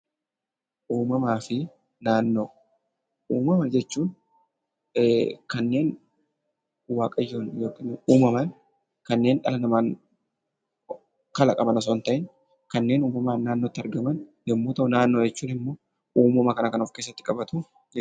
Uumamaa fi naannoo Uumama jechuun kanneen waaqayyoon uumaman, kanneen dhala namaan kalaqaman osoo hin ta'iin kanneen uumamaan naannootti argaman yemmuu ta'u, naannoo jechuun immoo uumama kana kan of keessatti qabatu jechuudha.